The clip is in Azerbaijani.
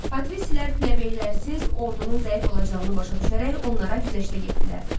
Patristlər plebeylərsiz ordunun zəif olacağını başa düşərək onlara güzəştə getdilər.